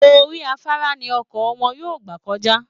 Orí afárá ni ọkọ̀ wọn yóò gbà kọjá